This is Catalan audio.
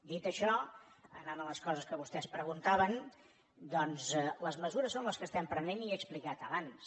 dit això anant a les coses que vostès preguntaven doncs les mesures són les que estem prenent i que he explicat abans